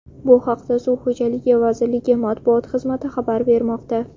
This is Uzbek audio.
Bu haqda Suv xo‘jaligi vazirligi matbuot xizmati xabar bermoqda .